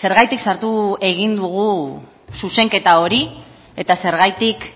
zergatik sartu egin dugu zuzenketa hori eta zergatik